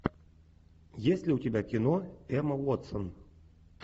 есть ли у тебя кино эмма уотсон